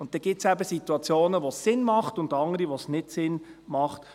Dann gibt es eben Situationen, wo es Sinn macht, und andere, bei denen es nicht Sinn macht.